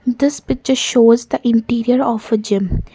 this picture shows the interior of a gym.